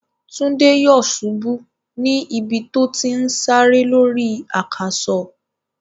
Túndé yòsubú ní ibi tó ti n sáré lórí àkàsò.